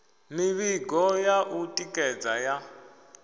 mivhigo ya u tikedza ya